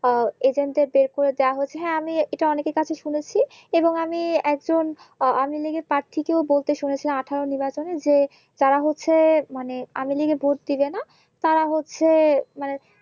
আহ Agent দেড় বের করে দেওয়া হয়েছে হ্যাঁ এটা আমি অনেকের কাছে শুনেছি এবং আমি একজন আনলি কের প্রার্থীকেও বলতে শুনেছিলম আঠারো নর্বাচনে যে তারা হচ্ছে মানে আন লিকে ভোট দিক যেন তারা হচ্ছে মানে